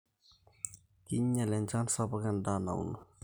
Kinyal enchaan sapuk endaa nauno